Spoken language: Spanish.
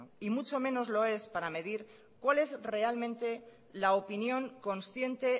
y mucho menos lo es para medir cuál es realmente la opinión consciente